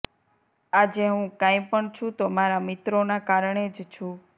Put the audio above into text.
આજે હું કાઈપણ છું તો મારા મિત્રોના કારણે જ છું